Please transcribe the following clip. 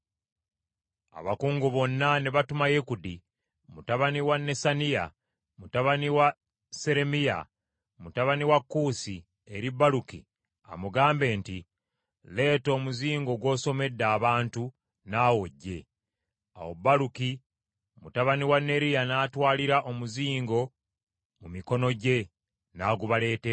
abakungu bonna ne batuma Yekudi mutabani wa Nesaniya, mutabani wa Seremiya mutabani wa Kuusi eri Baluki amugambe nti, “Leeta omuzingo gw’osomedde abantu, naawe ojje.” Awo Baluki mutabani wa Neriya n’atwalira omuzingo mu mikono gye n’agubaleetera.